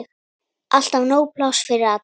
Alltaf nóg pláss fyrir alla.